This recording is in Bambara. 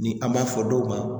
Ni an m'a fɔ dɔw ma